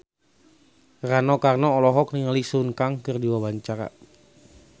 Rano Karno olohok ningali Sun Kang keur diwawancara